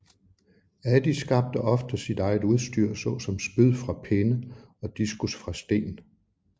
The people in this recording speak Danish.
Adi skabte ofte sit eget udstyr såsom spyd fra pinde og diskus fra sten